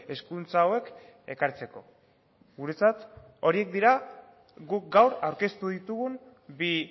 hezkuntza hauek ekartzeko guretzat horiek dira guk gaur aurkeztu ditugun bi